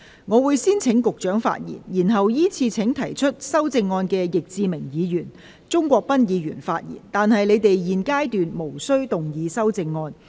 我會先請局長發言，然後依次請提出修正案的易志明議員及鍾國斌議員發言，但他們在現階段無須動議修正案。